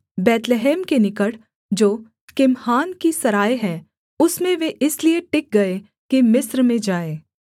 बैतलहम के निकट जो किम्हाम की सराय है उसमें वे इसलिए टिक गए कि मिस्र में जाएँ